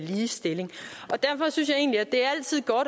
ligestilling derfor synes jeg egentlig